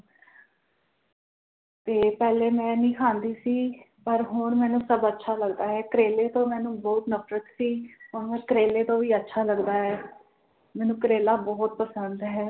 ਤੇ ਪਹਿਲੇ ਮੈਂ ਨੀ ਖਾਂਦੀ ਸੀ ਪਰ ਹੁਣ ਮੈਨੂੰ ਸਭ ਅੱਛਾ ਲੱਗਦਾ ਹੈ ਕਰੇਲੇ ਤੋਂ ਮੈਨੂੰ ਬੋਹੋਤ ਨਫਰਤ ਸੀ ਹੁਣ ਕਰੇਲੇ ਤੋਂ ਵੀ ਅੱਛਾ ਲੱਗਦਾ ਹੈ ਮੈਨੂੰ ਕਰੇਲਾ ਬੋਹੋਤ ਪਸੰਦ ਹੈ